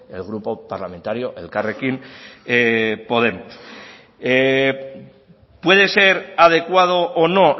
el grupo parlamentario elkarrekin podemos puede ser adecuado o no